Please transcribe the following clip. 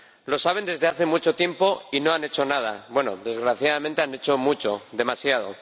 Lo saben desde hace mucho tiempo y no han hecho nada —bueno, desgraciadamente, han hecho mucho, demasiado—.